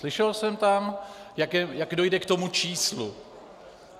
Slyšel jsem tam, jak dojde k tomu číslu.